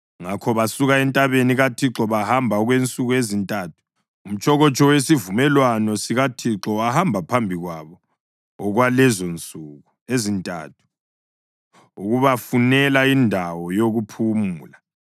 Ngakho basuka entabeni kaThixo bahamba okwensuku ezintathu. Umtshokotsho wesivumelwano sikaThixo wahamba phambi kwabo okwalezonsuku ezintathu ukubafunela indawo yokuphumula.